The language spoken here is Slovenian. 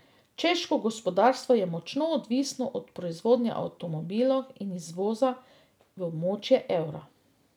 Češko gospodarstvo je močno odvisno od proizvodnje avtomobilov in izvoza v območje evra.